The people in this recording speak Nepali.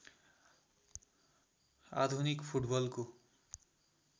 आधुनिक फुटबलको